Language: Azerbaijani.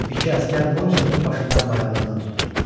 İki əsgər Morisotun başından və ayağından tutdu.